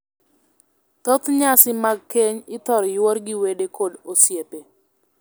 Thoth nyasi mag keny ithor yuor gi wede kod osiepe.